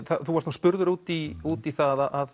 þú varst nú spurður út í út í það að